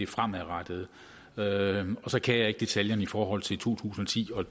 fremadrettede og så kan jeg ikke detaljerne i forhold til to tusind og ti og